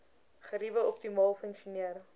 geriewe optimaal funksioneer